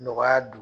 Nɔgɔya don